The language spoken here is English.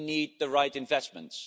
we need the right investments.